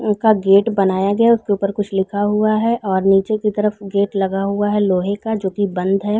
ऊपर गेट बनाया गया है उसके ऊपर कुछ लिखा हुआ है और नीचे की तरफ गेट लगा हुआ है लोहे का जो की बंद हैं।